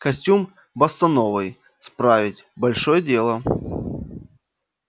костюм бостоновый справить большое дело